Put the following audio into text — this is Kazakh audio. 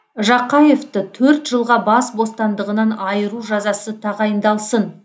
жақаевты төрт жылға бас бостандығынан айыру жазасы тағайындалсын